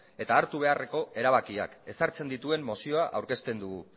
eta hartu beharreko erabakiak ezartzen dituen mozioa aurkezten dugu